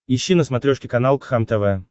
ищи на смотрешке канал кхлм тв